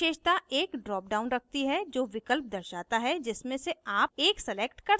प्रत्येक विशेषता एक drop down रखती है जो विकल्प दर्शाता है जिसमें से आप एक select कर सकते हैं